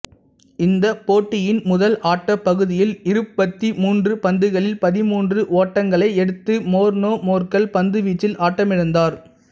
இந்தப் போட்டியின் முதல் ஆட்டப் பகுதியில் இருபத்தி மூன்று பந்துகளில் பதிமூன்று ஓட்டங்களை எடுத்து மோர்னே மோர்கல் பந்துவீச்சில் ஆட்டமிழந்தார்